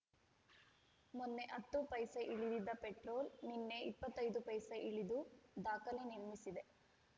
ಮೊನ್ನೆ ಹತ್ತು ಪೈಸೆ ಇಳಿದಿದ್ದ ಪೆಟ್ರೋಲ್‌ ನಿನ್ನೆ ಇಪ್ಪತ್ತೈ ದು ಪೈಸೆ ಇಳಿದು ದಾಖಲೆ ನಿರ್ಮಿಸಿದೆ